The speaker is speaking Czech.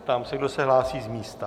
Ptám se, kdo se hlásí z místa.